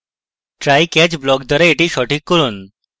trycatch block দ্বারা এটি সঠিক করুন